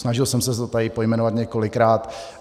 Snažil jsem se to tady pojmenovat několikrát.